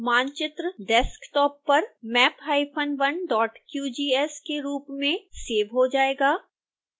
मानचित्र desktop पर map hyphen 1 dot qgs के रूप में सेव हो जाएगा